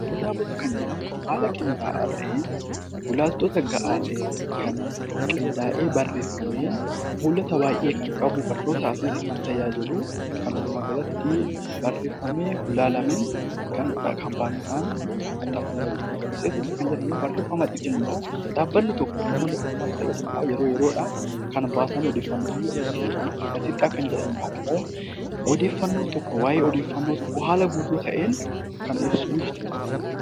Kitaabota kan jedhamu haala qindaa'aa ta'een, gulaaltota gahaa ta'een kan qindaa'ee barreeffamee, fuulota baayyee kan qabu, barnootaaf illee kan tajaajilu walumaa galatti barreeffamee gulaalamee kan kaampaaniidhaan maxxanfamu ta'u, matseetii jechuun barreeffama xixinnoo dhaabbanni tokko namoota dhuunfaas ta'ee garee kan baasan bifa odeeffannoo kennuun, gaazexaa kan jennuun immoo odeeffannoo tokko waa'ee odeeffannoo tokkoo haala guutuu ta'een kan ibsuu jechuudha.